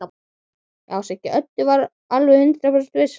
Já, Siggi Öddu var alveg hundrað prósent viss.